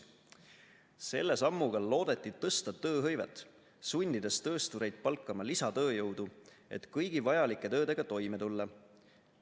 Selle sammuga loodeti tõsta tööhõivet, sundides tööstureid palkama lisatööjõudu, et kõigi vajalike töödega toime tulla.